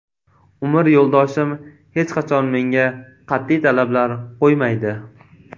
Umr yo‘ldoshim hech qachon menga qat’iy talablar qo‘ymaydi.